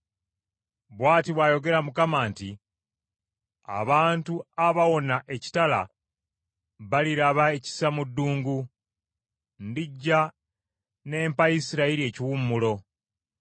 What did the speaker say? Bw’ati bw’ayogera Mukama nti, “Abantu abawona ekitala baliraba ekisa mu ddungu. Ndijja n’empa Isirayiri ekiwummulo.”